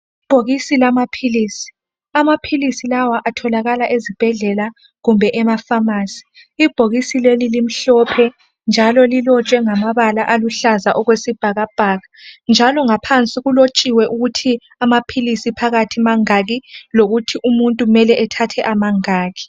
Ibhokisi lamaphilisi , amaphilisi lawa atholakala ezibhedlela kumbe emafamasi ibhokisi leli limhlophe njalo lilotshwe ngamabala aluhlaza okwesibhakabhaka njalo ngaphansi kulotshiwe ukuthi amaphilisi phakathi mangaki lokuthi umuntu mele athathe amangaki .